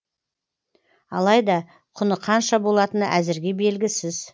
алайда құны қанша болатыны әзірге белгісіз